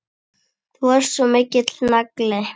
Þú varst svo mikill nagli.